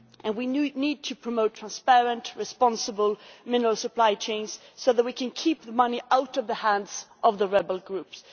We need to promote transparent, responsible mineral supply chains so that we can keep the money out of the hands of rebel groups